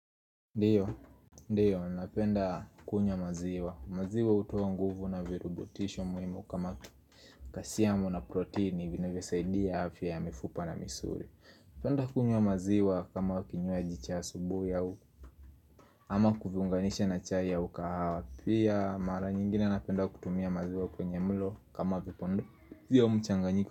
Ndiyo, ndiyo, napenda kunywa maziwa maziwa hutoa nguvu na virurubutisho muhimu kama kasiamu na proteini vinavyo saidia afya ya mifupa na misuri Napenda kunywa maziwa kama kinywaji cha asubui au ama kuziunganisha na chai au kahawa Pia, mara nyingine napenda kutumia maziwa kwenye mlo kama vipondo vya mchanganyiko.